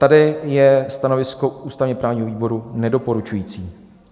Tady je stanovisko ústavně-právního výboru nedoporučující.